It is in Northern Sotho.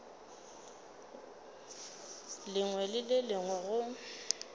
lengwe le le lengwe go